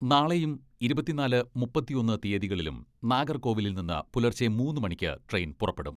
നാളെയും ഇരുപത്തിനാല്, മുപ്പത്തൊന്ന് തീയ്യതികളിലും നാഗർകോവിലിൽ നിന്ന് പുലർച്ചെ മൂന്ന് മണിക്ക് ട്രെയിൻ പുറപ്പെടും.